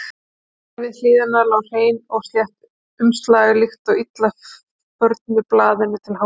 Þar við hliðina lá hreint og slétt umslag, líkt og illa förnu blaðinu til háðungar.